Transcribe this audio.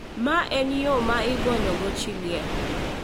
Ma en yo ma igonyogo chi liel.